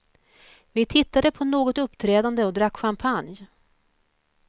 Vi tittade på något uppträdande och drack champagne.